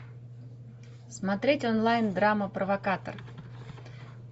смотреть онлайн драма провокатор